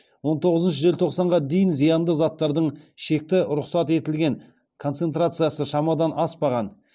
он тоғызыншы желтоқсанға дейін зиянды заттардың шекті рұқсат етілген концентрациясы шамадан аспаған